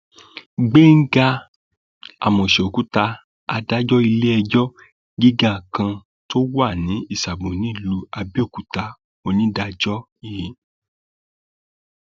gbẹngà àmóseòkúta adájọ iléẹjọ gíga kan tó wà ní ìsàbò nílùú àbẹòkúta onídàájọ i